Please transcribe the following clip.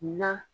Na